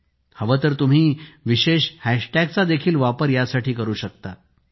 तुम्हांला हवे तर तुम्ही विशेष हॅशटॅग चा देखील वापर करू शकता